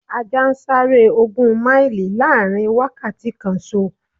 Ajá ń sáré ogún máìlì láàrin wákàtí kanṣo.